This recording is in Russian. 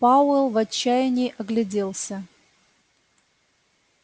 пауэлл в отчаянии огляделся